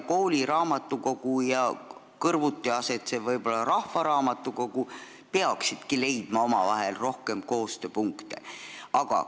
Kooliraamatukogu ja sellega ehk kõrvuti asetsev rahvaraamatukogu peaksid omavahel rohkem koostööd tegema.